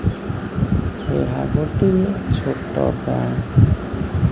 ଏହା ଗୋଟିଏ ଛୋଟ ବ୍ୟାଙ୍କ୍ ।